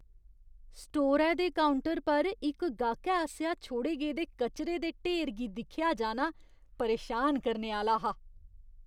स्टोरै दे काउंटर पर इक गाह्‌कै आसेआ छोड़े गेदे कचरे दे ढेर गी दिक्खेआ जाना परेशान करने आह्‌ला हा।